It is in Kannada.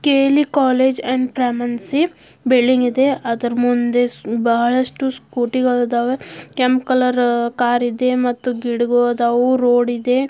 ಕೆಎಲ್ಈ ಕಾಲೇಜು ಅಂಡ್ ಬಿಲ್ಡಿಂಗ್ ಇದೆ ಅದೇ ಅದರ ಮುಂದೆ ಬಹಳಷ್ಟು ಸ್ಕೂಟಿಗಳು ಇದಾವೆ ಕೆಂಪ್ ಕಲರ್ ಕಾರ್ ಇದೆ ಮತ್ತೆ ಗಿಡಗಲ್ ಅದಾವ ರೋಡ್ ಇದೇ.